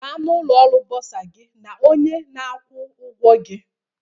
Gaa na ụlọ ọrụ Bursar gị na onye na-akwụ ụgwọ gị